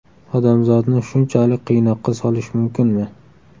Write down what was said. Odamzodni shunchalik qiynoqqa solish mumkinmi?